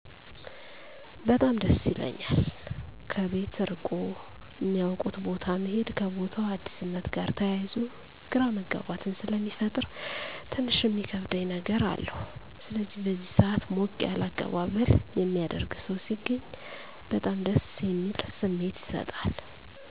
በጣም ደስ ይለኛል። ከቤት እርቆ እማያውቁት ቦታ መሄድ ከቦታው አዲስነት ጋር ተያይዞ ግራመጋባትን ስለሚፈጥር ትንሽ እሚከብድ ነገር አለዉ። ስለዚህ በዚህ ሰአት ሞቅ ያለ አቀባበል የሚያደረግ ሰው ሲገኝ በጣም ደስ የሚል ስሜት ይሰጣል።